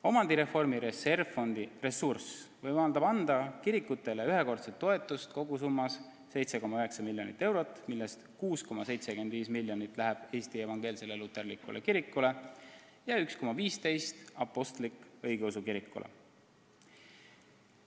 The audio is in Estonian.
Omandireformi reservfondi ressurss võimaldab anda kirikutele ühekordset toetust kogusummas 7,9 miljonit eurot, millest 6,75 miljonit saaks Eesti Evangeelne Luterlik Kirik ja 1,15 miljonit Eesti Apostlik-Õigeusu Kirik.